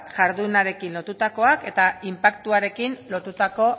jardunarekin lotutakoak eta inpaktuarekin lotutako